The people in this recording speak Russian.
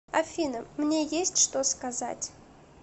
афина мне есть что сказать